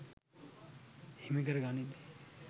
හිමි කර ගනිද්දී